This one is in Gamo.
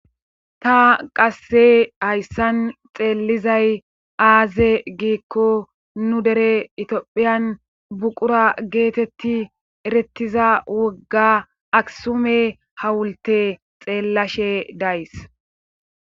ta qasse hayssan xeellizay aaze giikko nu dere itiophiyan buqura geetetti erettiza wogga aksume hawulte xeellashe days